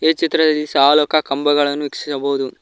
ಈ ಚಿತ್ರದಲ್ಲಿ ಸಾಲುಕ ಕಂಬಗಳನ್ನು ವೀಕ್ಷಿಸಬಹುದು.